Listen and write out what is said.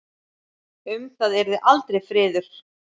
Um það yrði aldrei friður!